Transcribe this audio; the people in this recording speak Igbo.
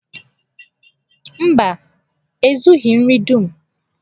Mba, e zughi nri dum.